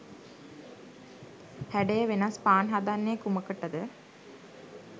හැඩය වෙනස් පාන් හදන්නේ කුමකටද?